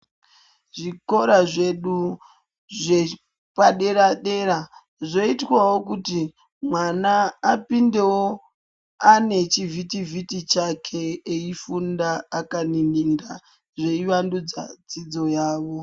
Zvikora zvedu zvepadera dera zvoitwawo kuti mwana apindewo ane chivhiti vhiti chake eifunda akanininda zveivandudza dzidzo yavo.